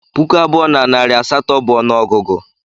Puku abụọ na narị asatọ bụ ọnụọgụgụ